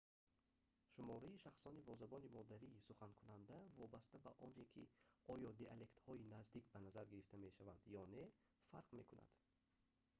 шумораи шахсони бо забони модарӣ суханкунанда вобаста ба оне ки оё диалектҳои наздик ба назар гирифта мешаванд ё не фарқ мекунад